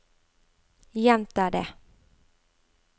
gjenta det